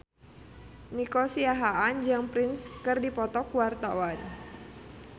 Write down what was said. Nico Siahaan jeung Prince keur dipoto ku wartawan